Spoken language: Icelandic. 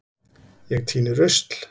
Ég tíni rusl.